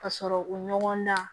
Ka sɔrɔ u ɲɔgɔn na